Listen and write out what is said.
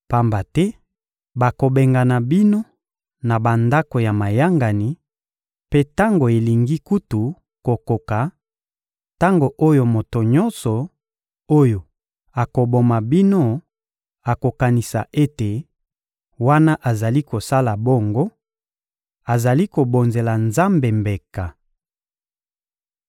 Pamba te bakobengana bino na bandako ya mayangani; mpe tango elingi kutu kokoka, tango oyo moto nyonso oyo akoboma bino akokanisa ete, wana azali kosala bongo, azali kobonzela Nzambe mbeka.